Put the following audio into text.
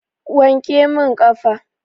Wanke min ƙafa.